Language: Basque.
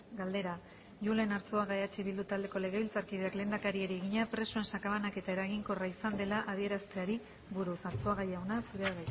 galdera julen arzuaga gumuzio eh bildu taldeko legebiltzarkideak lehendakariari egina presoen sakabanaketa eraginkorra izan dela adierazteari buruz arzuaga jauna zurea